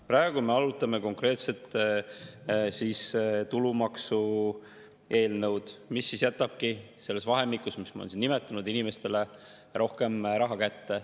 Praegu me arutame konkreetselt tulumaksu eelnõu, mis jätabki selles vahemikus, mis ma olen siin nimetanud, inimestele rohkem raha kätte.